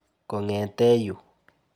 Kong'ete yu.